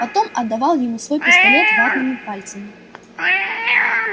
потом отдавал ему свой пистолет ватными пальцами